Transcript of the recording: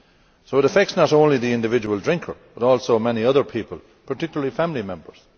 So it affects not only the individual drinker, but also many other people, particularly family members.